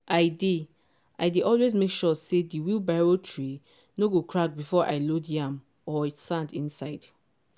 i dey i dey always make sure say di wheelbarrow tray no get crack before i load yam or sand inside.